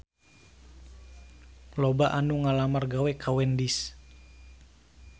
Loba anu ngalamar gawe ka Wendy's